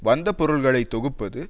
வந்த பொருள்களை தொகுப்பது